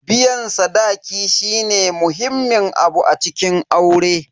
Biyan sadaki shine muhimmin abu a cikin aure.